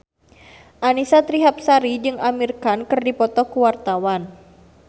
Annisa Trihapsari jeung Amir Khan keur dipoto ku wartawan